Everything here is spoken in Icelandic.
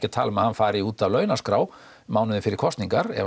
að tala um að hann fari út af launaskrá mánuði fyrir kosningar ef